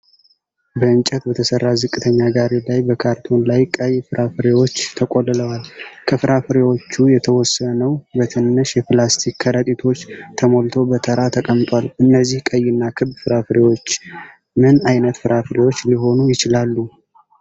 በእንጨት በተሰራ ዝቅተኛ ጋሪ ላይ በካርቶን ላይ ቀይ ፍራፍሬዎች ተቆልለዋል። ከፍራፍሬዎቹ የተወሰነው በትንሽ የፕላስቲክ ከረጢቶች ተሞልቶ በተራ ተቀምጧል። እነዚህ ቀይና ክብ ፍራፍሬዎች ምን ዓይነት ፍራፍሬዎች ሊሆኑ ይችላሉ?